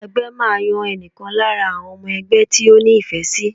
Ẹgbẹ́ máa yan ẹnìkan lára àwọn ọmọ ẹgbẹ́ tí ó ní ìfẹ́ sì.